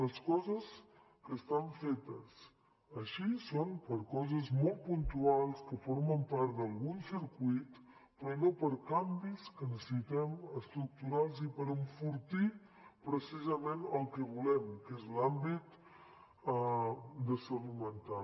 les coses que estan fetes així són per coses molt puntuals que formen part d’algun circuit però no per a canvis que necessitem estructurals i per enfortir precisament el que volem que és l’àmbit de salut mental